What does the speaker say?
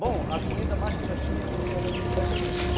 Bom, a comida mais que nós tínhamos era de extrativismo.